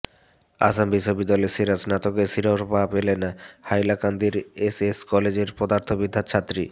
আসাম বিশ্ববিদ্যালয়ের সেরা স্নাতকের শিরোপা পেলেন হাইলাকান্দির এস এস কলেজের পদার্থ বিদ্যার ছাত্রী